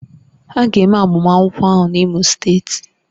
A ga-eme agbamakwụkwọ ahụ n'Imo steeti